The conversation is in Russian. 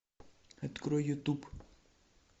открой ютуб